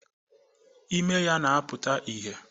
Ime ya na-apụta ìhèe